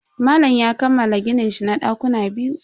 Malam ya kammala gininshi na dakuna biyu.